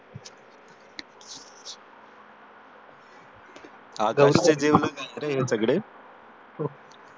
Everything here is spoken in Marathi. हा गौरीचे जिवलग मित्र आहेत हे सगळे